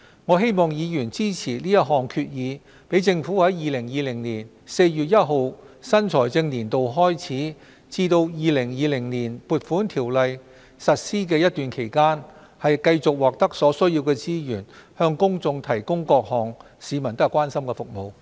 我希望議員支持這項決議案，讓政府在2020年4月1日新財政年度開始至《2020年撥款條例》實施前的一段期間，繼續獲得所需資源，向公眾提供各項市民所關心的服務。